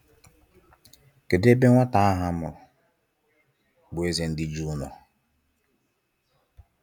Kedụ ebe nwata ahụ amụrụ bụ eze ndi Jew nọọ?